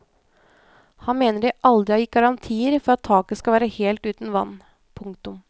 Han mener de aldri har gitt garantier for at taket skal være helt uten vann. punktum